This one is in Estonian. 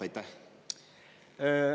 Aitäh!